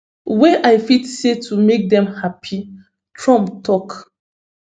wey i fit say to make dem happy trump tok